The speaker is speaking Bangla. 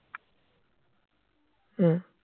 হম